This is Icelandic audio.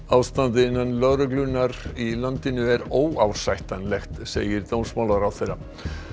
ástandið innan lögreglunnar í landinu er óásættanlegt segir dómsmálaráðherra